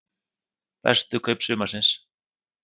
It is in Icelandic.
Bestu kaup sumarsins?